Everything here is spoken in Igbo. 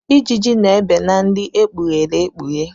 Ijiji na-ebe na nri ekpughere ekpughe.